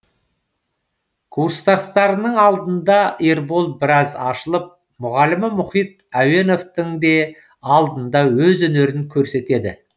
курстастарының алдында ербол біраз ашылып мұғалімі мұхит әуеновтің де алдында өз өнерін көрсетеді